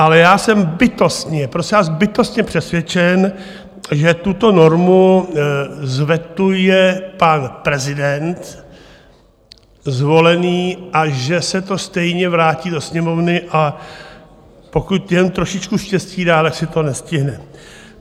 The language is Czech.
Ale já jsem bytostně, prosím vás, bytostně přesvědčen, že tuto normu vetuje pan prezident zvolený a že se to stejně vrátí do Sněmovny, a pokud jen trošičku štěstí dá, tak se to nestihne.